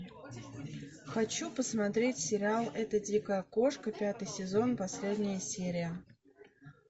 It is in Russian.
хочу посмотреть сериал эта дикая кошка пятый сезон последняя серия